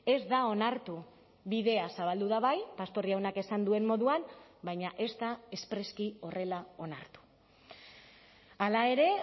ez da onartu bidea zabaldu da bai pastor jaunak esan duen moduan baina ez da espreski horrela onartu hala ere